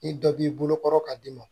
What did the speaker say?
Ni dɔ b'i bolo kɔrɔ ka d'i ma